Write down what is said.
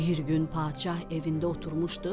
bir gün padşah evində oturmuşdu,